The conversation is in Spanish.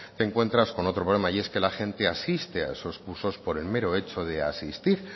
te encuentras con otro problema y es que la gente asiste a esos cursos por el mero hecho de asistir